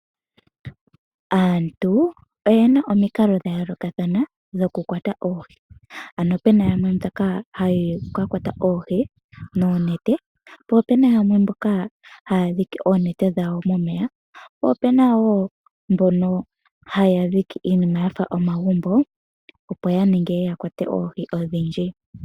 Aantu oye na omikalo dha yoolokathana dhokukwata oohi. Opu na yamwe mboka haya ka kwata oohi noonete, po ope na mboka haya dhike oonete dhawo momeya, po ope na wo mboka haya dhike iinima ya fa omagumbo, opo ya vule ya kwate oohi odhindji.